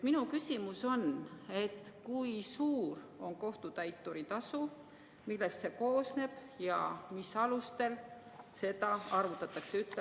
Minu küsimus on: kui suur on kohtutäituri tasu, millest see koosneb ja mis alustel seda arvutatakse?